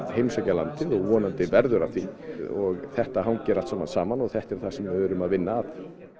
heimsækja landið og vonandi verður af því þetta hangir allt saman saman og þetta er það sem við erum að vinna að